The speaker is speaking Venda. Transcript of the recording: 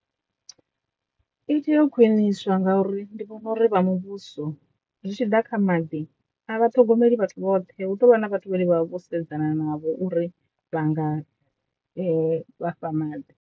I tea u khwiniswa ngauri ndi vhona uri vha muvhuso zwi tshi ḓa kha maḓi a vha ṱhogomeli vhathu vhoṱhe hu tovha na vhathu vhane vha vha vho sedzana navho uri vha nga vha fha maḓi.